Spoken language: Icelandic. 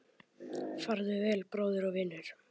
Farðu vel, bróðir og vinur